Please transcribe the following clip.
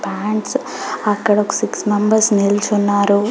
Plants అక్కడ ఒక six members నిల్చున్నారు.